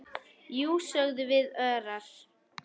Jú, sögðum við örar.